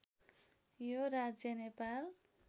यो राज्य नेपाल